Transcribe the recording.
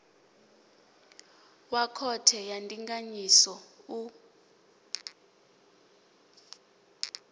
wa khothe ya ndinganyiso u